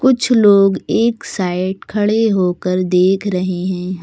कुछ लोग एक साइड खड़े होकर देख रहे हैं।